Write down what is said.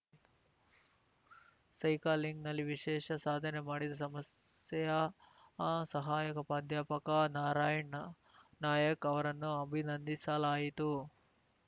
ಸೈಕಲಿಂಗ್‌ನಲ್ಲಿ ವಿಶೇಷ ಸಾಧನೆ ಮಾಡಿದ ಸಮಸ್ಸೇಯ ಸಹಾಯಕ ಪ್ರಾಧ್ಯಾಪಕ ನಾರಾಯಣ್ ನಾಯಕ್ ಅವರನ್ನು ಅಭಿನಂದಿಸಲಾಯಿತು